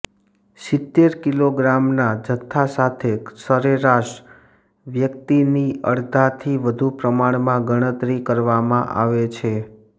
સિત્તેર કિલોગ્રામના જથ્થા સાથે સરેરાશ વ્યક્તિની અડધાથી વધુ પ્રમાણમાં ગણતરી કરવામાં આવે છે